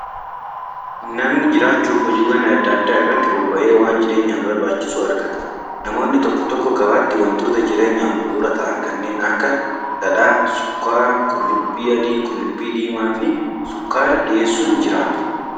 Namni jiraachuuf hojiiwwaan adda addaa irratti bobba'ee waan jireenyaaf barbaachisu argata. Namoonni tokko tokko gabaatti wantoota jireenyaaf bu'uura ta'an kannneen akka: dhadhaa, sukkaaraa, qullubbii adii, qullubbii diimaa fi sukkaara dhiyeessuun jiraatu.